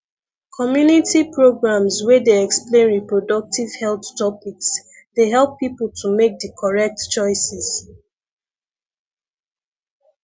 community programs wey dey explain reproductive health topics dey help people to make di correct choices